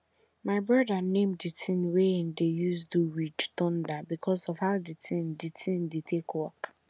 my broda name di tin wey em dey use do ridge thunder because of how di tin di tin dey take work